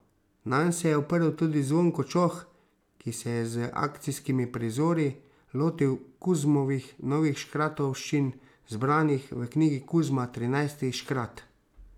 Nanj se je oprl tudi Zvonko Čoh, ki se je z akcijskimi prizori lotil Kuzmovih novih škratovščin, zbranih v knjigi Kuzma, trinajsti škrat.